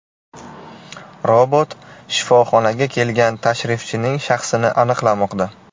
Robot shifoxonaga kelgan tashrifchining shaxsini aniqlamoqda.